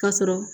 Ka sɔrɔ